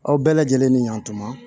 Aw bɛɛ lajɛlen ni yantuma